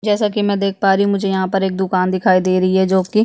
जैसा की में देख पा रही हूँ मुझे यहाँ पर एक दुकान दिखाई दे रही है जो की --